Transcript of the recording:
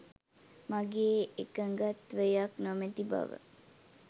මගේ එකඟත්වයක් නොමැති බව